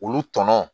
Olu tɔnɔ